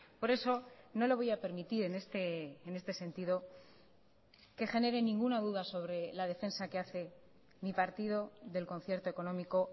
por eso no lo voy a permitir en este sentido que genere ninguna duda sobre la defensa que hace mi partido del concierto económico